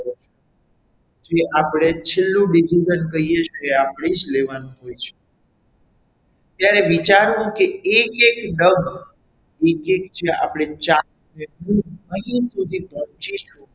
જે આપડે છેલ્લું decision કહીએ છીએ આપણે તે આપને જ લેવાનું હોય છે ત્યારે વિચારવું કે એક એક ડગ એક એક જે આપણી અહીંયા સુધી પહોંચી છું.